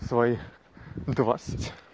своих двадцать